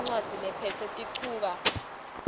incwadzi lephetse tinchukaca